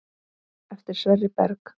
Eftir Sverri Berg.